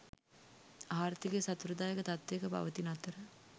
ආර්ථිකය සතුටුදායක තත්ත්වයක පවතින අතර